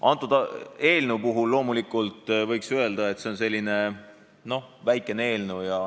Antud eelnõu kohta võiks loomulikult öelda, et see on väikene eelnõu.